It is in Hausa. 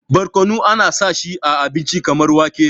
barkono ana sa shi a abinci kamar wake